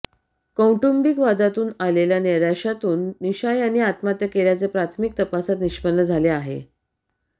कौटुंबिक वादातून आलेल्या नैराश्यातून निशा यांनी आत्महत्या केल्याचे प्राथमिक तपासात निष्पन्न झाले आहे